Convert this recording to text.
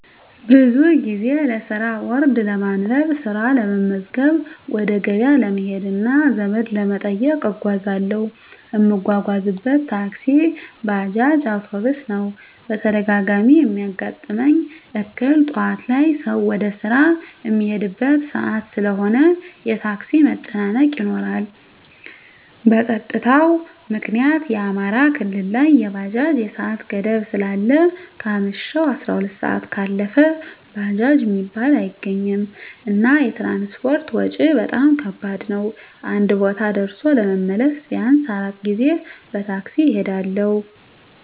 ብዙ ጊዜ ለስራ ቦርድ ለማንበብ፣ ስራ ለመመዝገብ፣ ወደ ገበያ ለመሄድ እና ዘመድ ለመጠየቅ እጓዛለሁ። እምጓጓዝበት ታክሲ፣ ባጃጅ፣ አዉቶቢስ ነዉ። በተደጋጋሚ እሚያጋጥመኝ እክል ጠዋት ላይ ሰዉ ወደ ስራ እሚሄድበት ሰአት ስለሆነ የታክሲ መጨናነቅ ይኖራል። በፀጥታዉ ምክኒያት አማራ ክልል ላይ የባጃጅ የሰአት ገደብ ስላለ ከአመሸሁ 12 ሰአት ካለፈ ባጃጅ እሚባል አይገኝም። እና የትራንስፖርት ወጭ በጣም ከባድ ነዉ አንድ ቦታ ደርሶ ለመመለስ ቢያንስ 4 ጊዜ በታክሲ እሄዳለሁ።